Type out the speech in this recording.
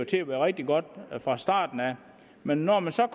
til at være rigtig godt fra starten men når man så